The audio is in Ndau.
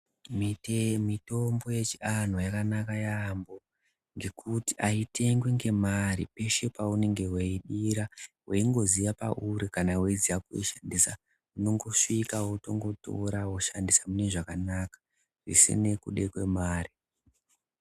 Mitombo yechiantu yakanaka yaambo. Ngekuti haitengwi ngemari peshe paunenge veibira veingoziya pauri kana veiziya kuishandisa. Unongosvika wotora voshandisa mune zvakanaka zvisine kude kwemari.